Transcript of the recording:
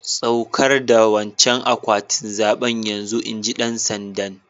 Tsaukar da wancan akwatin zabe yanzun! inji dan sanda'n.